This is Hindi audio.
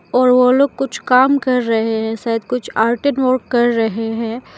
और वो लोग कुछ काम कर रहें है शायद कुछ आर्टिंग वर्क कर रहें हैं।